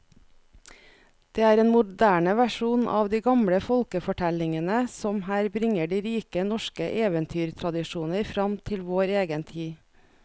Det er en moderne versjon av de gamle folkefortellingene som her bringer de rike norske eventyrtradisjoner fram til vår egen tid.